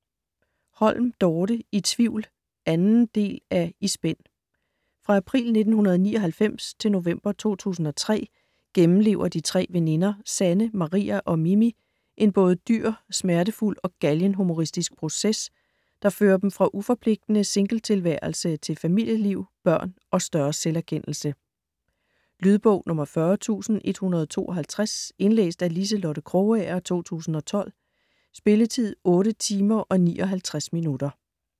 Holm, Dorte: I tvivl 2. del af I spænd. Fra april 1999 til november 2003 gennemlever de tre veninder Sanne, Maria og Mimi en både dyr, smertefuld og galgenhumoristisk proces, der fører dem fra uforpligtende singletilværelse til familieliv, børn og større selverkendelse. Lydbog 40152 Indlæst af Liselotte Krogager, 2012. Spilletid: 8 timer, 59 minutter.